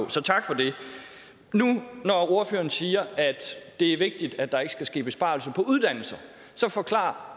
så tak for det nu når ordføreren siger at det er vigtigt at der ikke skal ske besparelser på uddannelser så forklar